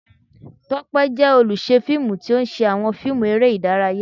Tope jẹ oluṣẹ filmú, ti o ṣe awọn fiimú eré idàráyá